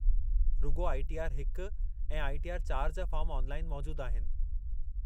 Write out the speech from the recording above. रुॻो I. T. R ऐं I. T. R जा फ़ाॅर्म ऑनलाइन मौजुदु आहिनि।